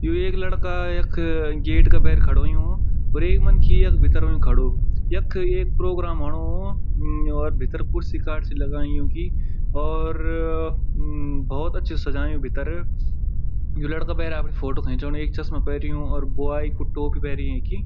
यु एक लड़का यख गेट का भैर खड़ु होयुं और एक मनखी यख भीतर फन खड़ु यख एक प्रोग्राम होणु मम और भीतर कुर्सी कार्सी लगायीं युन्की और म भोत अछू सजायुं भीतर यु लड़का भैर अपड़ी फोटू खिचणु एक चस्मा पेर्युं और बॉय कु टोपी पैरी यिन्की।